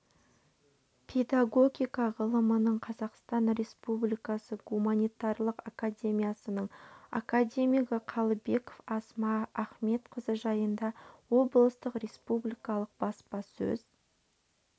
педагогика ғылымының қазақстан республикасы гуманитарлық академиясының академигі қалыбекова асма ахметқызы жайында облыстық республикалық баспасөз